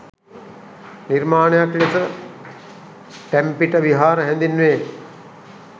නිර්මාණයක් ලෙස ටැම්පිට විහාර හැඳින්වේ.